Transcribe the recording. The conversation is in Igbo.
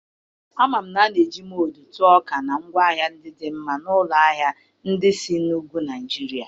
Ama m na a na-eji Mụdu tụọ ọka na ngwaahịa dị mma n'ụlọ ahịa ndị isi na ugwu Naijiria.